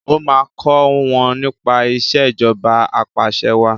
o má kò wón nípa Ìṣèjọba Apàṣẹwàá